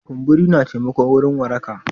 Kumburi na taimako wurin waraka.